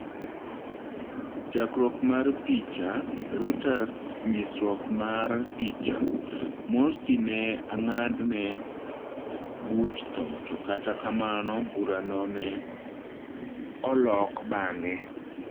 Chakruok mar picha, Reuters nyisruok mar picha, Morsi ne ang'adne buch thoo to kata kamano bura no ne olok baang'e.